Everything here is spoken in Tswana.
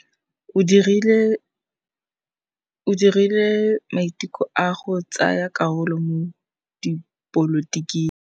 O dirile maitekô a go tsaya karolo mo dipolotiking.